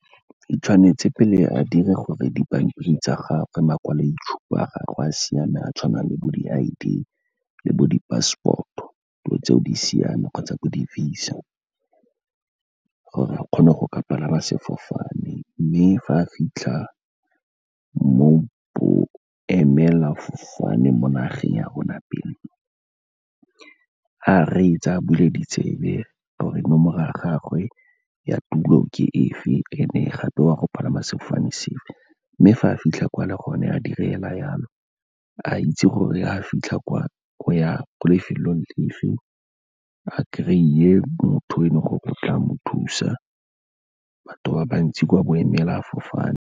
Tshwanetse pele a dire gore dipampiri tsa gagwe, makwaloitshupa a gagwe a siame, a tshwana le bo di I_D le bo di-passport-o, dilo tseo di siame kgotsa bo di-VISA, gore a kgone go ka palama sefofane. Mme fa a fitlha mo boemelafofaneng mo nageng ya rona pele, a reetse, a bule ditsebe gore nomoro ya gagwe ya tulo ke efe, and-e gape wa go palama sefofane se fe. Mme fa a fitlha kwa le gone a dire fela yalo, a itse gore ga fitlha kwa lefelong le fe, a kry-e motho fa go tla mo thusa, batho ba bantsi kwa boemelafofaneng.